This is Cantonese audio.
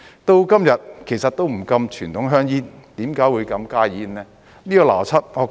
到了今日也不禁傳統香煙，為何會禁加熱煙呢？